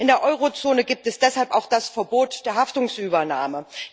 In der Eurozone gibt es deshalb auch das Verbot der Haftungsübernahme.